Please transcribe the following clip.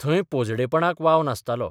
थंय पोजडेपणाक बाव नासतालो.